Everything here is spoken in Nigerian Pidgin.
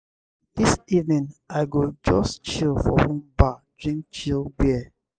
dis evening i go just chill for one bar drink chilled beer.